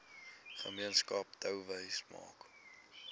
gemeenskap touwys maak